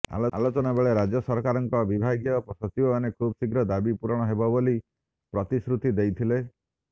ଆଲୋଚନା ବେଳେ ରାଜ୍ୟ ସରକାରଙ୍କ ବିଭାଗୀୟ ସଚିବମାନେ ଖୁବ୍ ଶୀଘ୍ର ଦାବି ପୁରଣ ହେବ ବୋଲି ପ୍ରତିଶ୍ରୁତି ଦେଇଥିଲେ